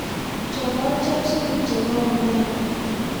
Chopochop supu chebo omena